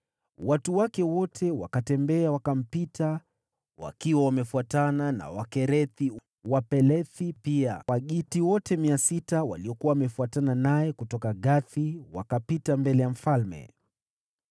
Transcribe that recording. Watu wake wote wakatembea, wakampita wakiwa wamefuatana na Wakerethi na Wapelethi wote; pia Wagiti wote mia sita waliokuwa wamefuatana naye kutoka Gathi wakapita mbele ya mfalme.